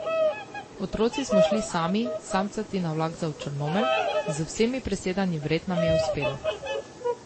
Otroci smo šli sami, samcati na vlak za v Črnomelj, z vsemi presedanji vred nam je uspelo.